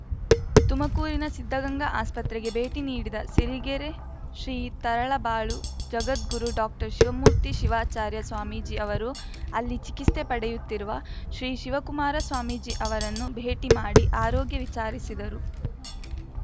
ತುಮಕೂರಿನ ಸಿದ್ದಗಂಗಾ ಆಸ್ಪತ್ರೆಗೆ ಭೇಟಿ ನೀಡಿದ ಸಿರಿಗೆರೆ ಶ್ರೀ ತರಳಬಾಳು ಜಗದ್ಗುರು ಡಾಕ್ಟರ್ ಶಿವಮೂರ್ತಿ ಶಿವಾಚಾರ್ಯ ಸ್ವಾಮೀಜಿ ಅವರು ಅಲ್ಲಿ ಚಿಕಿತ್ಸೆ ಪಡೆಯುತ್ತಿರುವ ಶ್ರೀ ಶಿವಕುಮಾರ ಸ್ವಾಮೀಜಿ ಅವರನ್ನು ಭೇಟಿಮಾಡಿ ಆರೋಗ್ಯ ವಿಚಾರಿಸಿದರು